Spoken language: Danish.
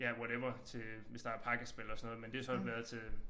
Ja whatever til hvis der pakkespil og sådan noget men det har så været til